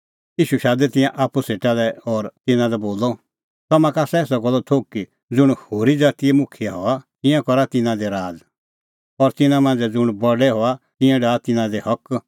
ईशू शादै तिंयां आप्पू सेटा लै और तिन्नां लै बोलअ तम्हां का आसा एसा गल्लो थोघ कि ज़ुंण होरी ज़ातीए मुखियै हआ तिंयां करा तिन्नां दी राज़ और तिन्नां मांझ़ै ज़ुंण बडै हआ तिंयां डाहा तिन्नां दी हक